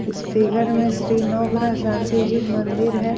इस फिगर में श्री नवग्रह शांति जिन मंदिर है।